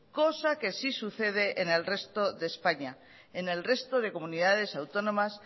cosa que sí sucede en el resto de españa en el resto de comunidades autónomas